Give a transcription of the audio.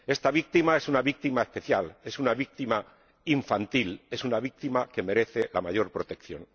Esta víctima es una víctima especial, es una víctima infantil, es una víctima que merece la mayor protección.